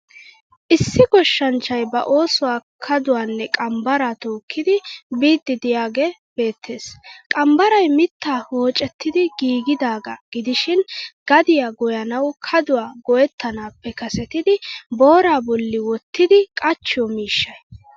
Issi goshshanchchay ba oosuwa kaduwanne qambbaraa tookkidi biiddi diyagee beettes. Qambbaray mittaa woocetti giigidaagaa gidishin gadiya goyyanawu kaduwa go'ettanaappe kasetidi booraa bolli wottidi qachchiyo miishshay.